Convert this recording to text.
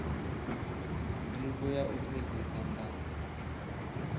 ndivho ya u fhedzisa nga